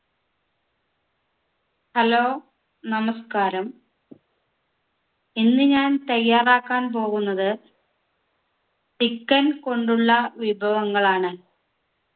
hello നമസ്ക്കാരം ഇന്ന് ഞാൻ തയ്യാറാക്കാൻ പോകുന്നത് chicken കൊണ്ടുള്ള വിഭവങ്ങളാണ്